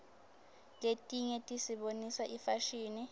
letinye tisibonisa ifashini